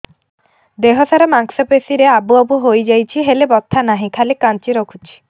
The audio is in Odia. ଦେହ ସାରା ମାଂସ ପେଷି ରେ ଆବୁ ଆବୁ ହୋଇଯାଇଛି ହେଲେ ବଥା ନାହିଁ ଖାଲି କାଞ୍ଚି ରଖୁଛି